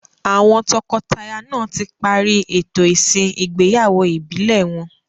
Àwọn tọkọtaya náà tí parí ètò ìsìn igbeyawo ìbílẹ̀ wọn.